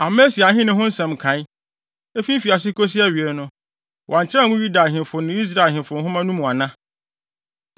Amasia ahenni ho nsɛm nkae, efi mfiase kosi awiei no, wɔankyerɛw angu Yuda ahemfo ne Israel ahemfo nhoma no mu ana?